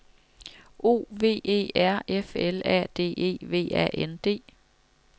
O V E R F L A D E V A N D